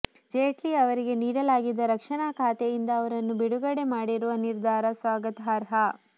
ಜೇಟ್ಲಿ ಅವರಿಗೆ ನೀಡಲಾಗಿದ್ದ ರಕ್ಷಣಾ ಖಾತೆಯಿಂದ ಅವರನ್ನು ಬಿಡುಗಡೆ ಮಾಡಿರುವ ನಿರ್ಧಾರ ಸ್ವಾಗತಾರ್ಹ